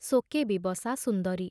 ଶୋକେ ବିବସା ସୁନ୍ଦରୀ।